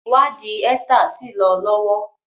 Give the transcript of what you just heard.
ìwádìí Esther sí lọ lọwọ